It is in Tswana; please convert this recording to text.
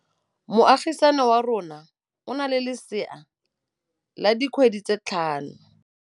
Moagisane wa rona o na le lesea la dikgwedi tse tlhano.